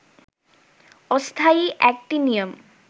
অস্থায়ী অ্যাক্টিনিয়াম